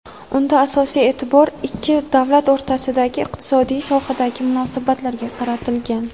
Unda asosiy e’tibor ikki davlat o‘rtasidagi iqtisodiy sohadagi munosabatlarga qaratilgan.